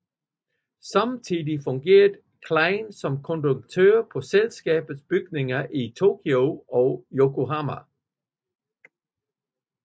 Samtidig fungerede Klein som konduktør på selskabets bygninger i Tokyo og Yokohama